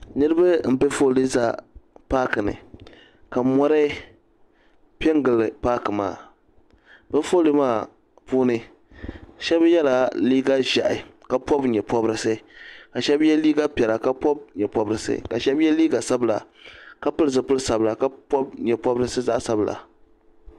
Niribi mpɛ foolii nzaya paaki ni ka mɔri pɛngili paaki maa bɛ foolii maa puuni shɛb yɛla liiga zɛhi ka pɔbi nyɛ pɔbrisi ka shɛb yɛ liiga piɛla ka pɔbi nyɛ pɔbrisi ka shɛb yɛ liiga sabila ka pili zupili sabila ka pɔbi nyɛ pɔbrisi zaɣi sabila.